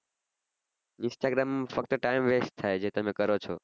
instagram ફક્ત time west થાય છે તમે કરો છો